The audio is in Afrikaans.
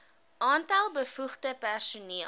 aantal bevoegde personeel